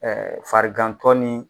farigantɔ ni.